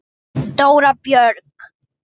Dóra Björg.